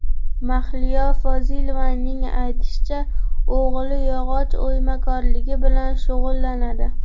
Mahliyo Fozilovaning aytishicha, o‘g‘li yog‘och o‘ymakorligi bilan shug‘ullanadi.